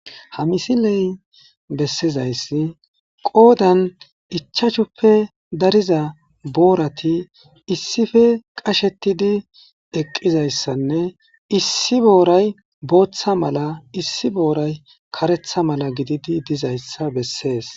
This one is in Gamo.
ha misiley bessizayssi qoodan ichachuppe dariza boorati issife qashetidi eqqizayssanne issi booray booththa mala issi booray karetha mala gididi dizayssa bessees